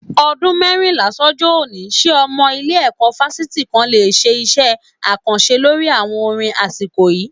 Ọdún mẹ́rìnlá sọ́jọ́ òní, ṣé ọmọ ilé-ẹ̀kọ́ fásitì kan le ṣe iṣẹ́ àkànṣe lórí àwọn orin asiko yìí